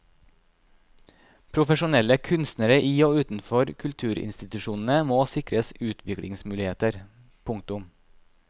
Profesjonelle kunstnere i og utenfor kulturinstitusjonene må sikres utviklingsmuligheter. punktum